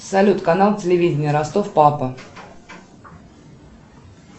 салют канал телевидение ростов папа